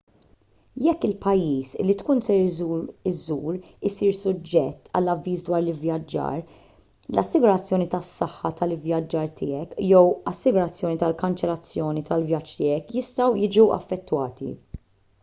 jekk il-pajjiż li tkun ser iżżur isir suġġett għal avviż dwar l-ivvjaġġar l-assigurazzjoni tas-saħħa tal-ivvjaġġar tiegħek jew l-assigurazzjoni tal-kanċellazzjoni tal-vjaġġ tiegħek jistgħu jiġu affettwati